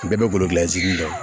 U bɛɛ bɛ golo gilansi de